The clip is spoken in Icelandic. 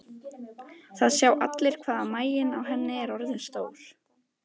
Það sjá allir hvað maginn á henni er orðinn stór.